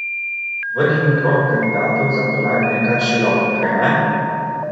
Vrh in krog kandidatov za kolajne je kar širok, kajne?